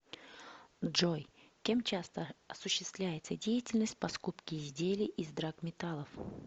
джой кем часто осуществляется деятельность по скупке изделий из драгметаллов